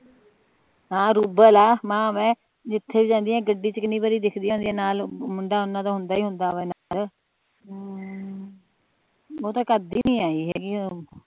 ਹਮ ਰੂਬਲ ਆ ਮਾਂ ਜਿਥੇ ਵੀ ਜਾਂਦੀਆਂ ਗੱਡੀ ਚ ਕੀਨੀ ਬੜੀ ਦਿਖਦੀਆਂ ਹੁੰਦੀਆਂ ਨਾਲ ਮੁੰਡਾ ਓਹਨਾ ਦਾ ਹੁੰਦਾ ਹੀ ਹੁੰਦਾ ਵਾ ਨਾਲ ਹਮ